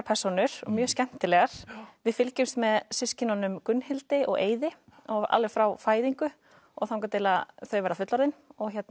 persónur og mjög skemmtilegar við fylgjumst með systkinunum Gunnhildi og Eiði alveg frá fæðingu og þangað til þau verða fullorðin